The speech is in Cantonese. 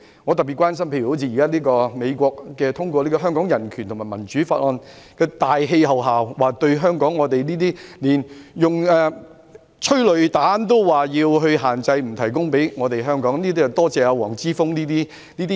我特別關心到，在美國通過《香港人權與民主法案》的大氣候下，連香港警隊使用催淚彈也要限制，不提供彈藥給我們，這要多謝黃之鋒這種人。